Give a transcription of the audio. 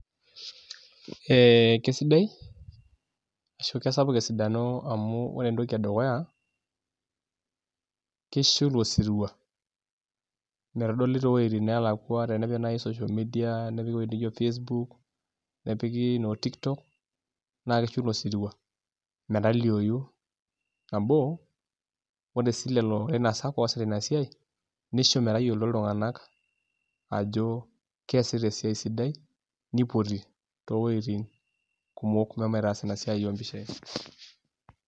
Ee kesidai ashu kesapuk esidano amu ore entoki edukuya, kisho ilosirua metodoli too wojitin neelakua tenepik naaji social media nepiki ewoji nijo facebook nepiki noo tiktok naa kishu ilosirua metaliou nabo ashu kisho sii aasak oosita ina siai nisho metayioloito iltunganak ajo keesita esiai sidai nipoti towoitin kumok meshomoita aas ina siai oompishai.